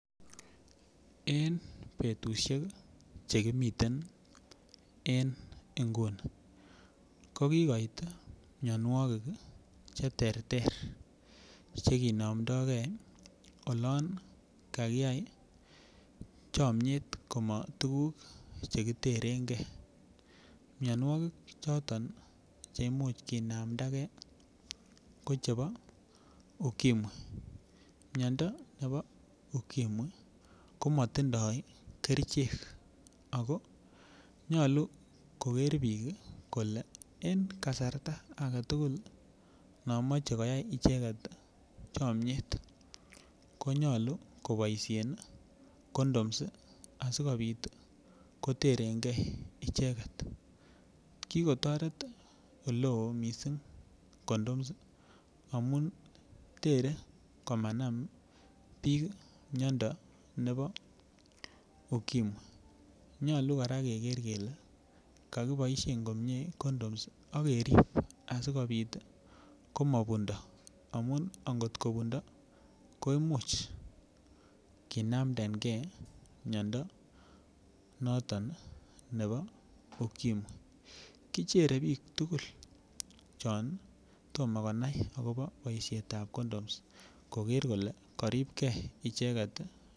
Eng betushek chekimiten en nguni ko kikoit mionwokik che ter ter chekinomdokei olon kakiyai chomiet komak tukuk chekiterenkei mionwokik choton che imuch kinamdake ko chebo ukimwi miondo nebo ukimwi ko matindoi kerchek ako nyolu koker biik kole eng kasarta agetukul no mochei koyai icheket chomiet konyolu koboisie condoms asikobit koterenkee icheket kikotoret oleo mising condoms amun tere komanam biik miondo nebo ukimwi nyolu kora keker kele kakiboishe komie condoms akerip asikobit komabundo amun atkobundo koimuch kinamdenke miondo noton nebo ukimwi kichere biik tugul chon tomoko konai akobo boishet ap condoms koker kole karipkei icheket.